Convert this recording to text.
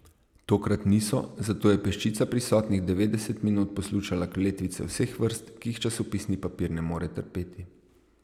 Tokrat niso, zato je peščica prisotnih devetdeset minut poslušala kletvice vseh vrst, ki jih časopisni papir ne more trpeti.